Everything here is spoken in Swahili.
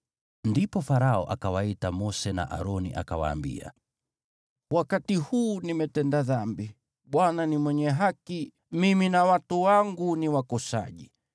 Ndipo Farao akawaita Mose na Aroni akawaambia, “Wakati huu nimetenda dhambi. Bwana ni mwenye haki, mimi na watu wangu ni wakosaji.